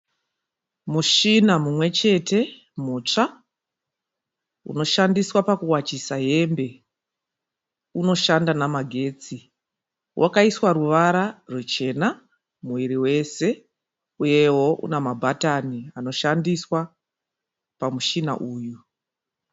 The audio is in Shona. Mushina mumwe chete mutsva unoshandiswa pakuwachisa hembe. Unoshanda nemagetsi. Wakaiswa ruvara ruchena muviri wese uyewo une mabahatani anoshandiswa pamushina uyu.